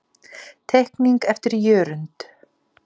Teikning eftir Jörund.